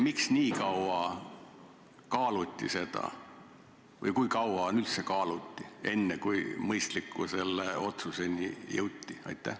Miks seda nii kaua kaaluti või kui kaua üldse kulus enne, kui selle mõistliku otsuseni jõuti?